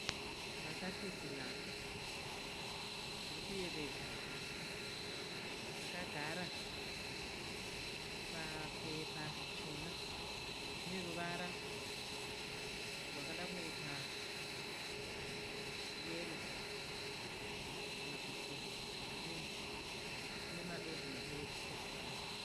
Mbatattisi nhatu dziri kuyevedza. Dzakagara papepa richena. Dzine ruvara rwakada kunoita yero kana kuti kirimu. Dzine madodzi dodzi ebhurauni.